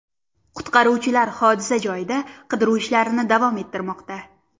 Qutqaruvchilar hodisa joyida qidiruv ishlarini davom ettirmoqda.